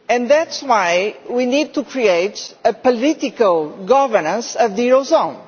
That is why we need to create a political governance of the eurozone.